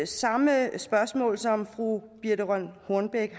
samme spørgsmål som fru birthe rønn hornbech